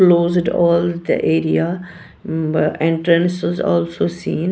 Closed all the area entrance was also seen.